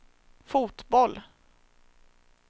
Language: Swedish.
fotboll